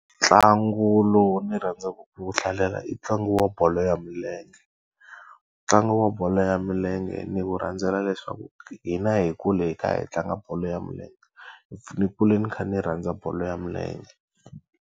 Ntlangu lowu ni rhandzaku ku wu hlalela i ntlangu wa bolo ya milenge. Ntlangu wa bolo ya milenge ni wu rhandzela leswaku hina hi kule hi kha hi tlanga bolo ya milenge. Ni kule ni kha ni rhandza bolo ya milenge.